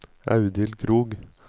Audhild Krogh